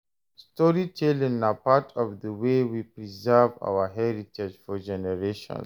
Storytelling na part of the way we preserve our heritage for generations.